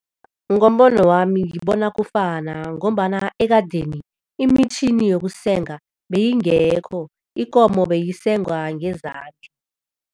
Ngombono wami, ngibona kufana ngombana ekadeni imitjhini yokusenga beyingekho, ikomo beyisengwa ngezandla.